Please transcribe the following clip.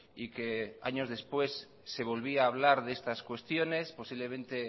y que años después se volvía a hablar de estas cuestiones posiblemente